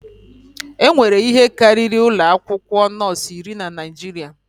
Enwere ihe karịrị ụlọ akwụkwọ nọọsụ iri na Naịjirịa.